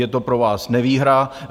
Je to pro vás nevýhra.